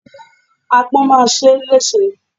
Agbọ́n má a ṣe ẹ́ lẹ́ṣe.